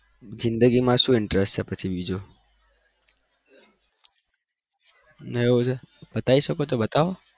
જિદગી માં શું interest છે પછી બીજો બતાવી શકો તો બતાવો